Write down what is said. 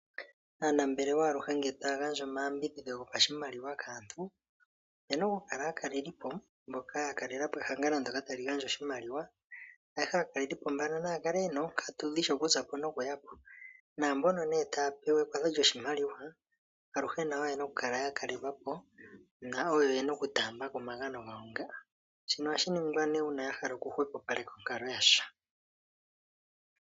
Aanambelewa aluhe ngele taya gandja omaya mbidhidho go pashimaliwa kaantu, opena okukala aakalelipo mboka aakalelipo mbano naya kale yena oonkatu dhi shi okuzapo nokuyapo. Naambono nee taya pewa ekwatho lyoshimaliwa aluhe nayo oyena okukala ya kalelwapo nawo oyena oku taambako omagano ga wo nga shino ohashiningwa nee una yahala okuhwepopaleka onkalo yasho.